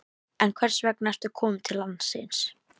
En hvers vegna ertu kominn til landsins?